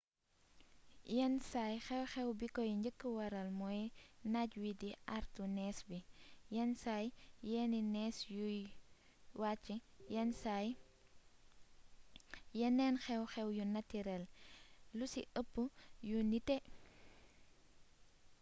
yenn saay xew-xew bi koy njëkk waral mooy naaj wii di àartu nees bi yenn saa yenni nees yuy wàcc yenn saa yeneen xew-xew yu natirel lu ci ëpp yu nité